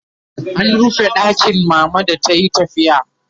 an rufe ɗakin mama da tayi tafiya